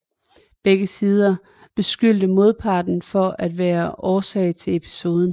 Begge sider beskyldte modparten for at være årsag til episoden